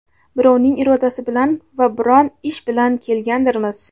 birovning irodasi bilan va biron ish bilan kelgandirmiz.